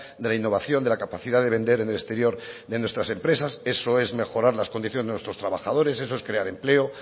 de la innovación de la capacidad de vender en el exterior de nuestras empresas eso es mejorar las condiciones de nuestros trabajadores eso es crear empleo